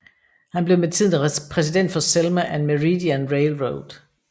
Han blev med tiden præsident for Selma and Meridian Railroad